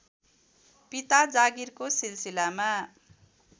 पिता जागिरको सिलसिलामा